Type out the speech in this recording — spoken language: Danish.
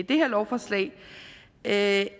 det her lovforslag at